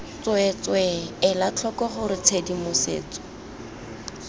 tsweetswee ela tlhoko gore tshedimosetso